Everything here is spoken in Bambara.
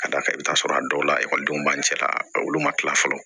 Ka d'a kan i bi t'a sɔrɔ a dɔw la ekɔlidenw b'an cɛla olu ma kila fɔlɔ